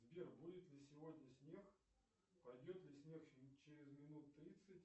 сбер будет ли сегодня снег пойдет ли снег через минут тридцать